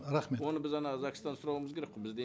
рахмет оны біз ана загстан сұрауымыз керек қой бізде